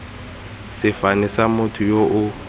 sefane sa motho yo o